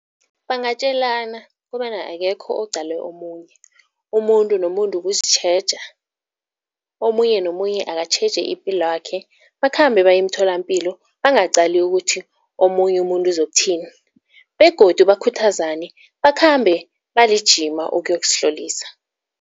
Bangatjalelana kobana akekho oqale omunye. Umuntu nomuntu kuzitjheja, omunye nomunye akatjheje ipilwakhe bakhambe baye emtholampilo bangaqali ukuthi omunye umuntu uzokuthini begodu bakhuthazane bakhambe balijima ukuyozihlolisa.